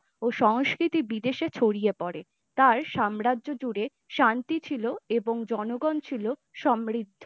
ও সংস্কৃতির বিদেশে ছড়িয়ে পড়ে তার সম্রাজ্য জুড়ে শান্তি ছিল এবং জনগণ ছিল সমৃদ্ধ।